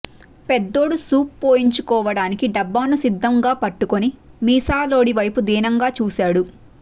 పెద్దోడు సూప్ పోయించుకోడానికి డబ్బాని సిద్ధంగా పట్టుకుని మీసాలోడి వైపు దీనంగా చూశాడు